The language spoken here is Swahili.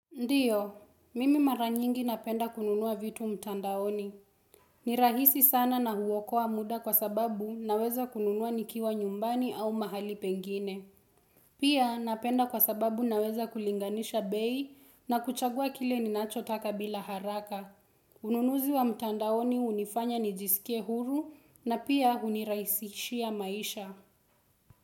Ndiyo, mimi maranyingi napenda kununua vitu mtandaoni. Nirahisi sana na huwokoa muda kwa sababu naweza kununua nikiwa nyumbani au mahali pengine. Pia napenda kwa sababu naweza kulinganisha bei na kuchagua kile ninacho taka bila haraka. Ununuzi wa mtandaoni unifanya nijisikie huru na pia unirahisishia maisha.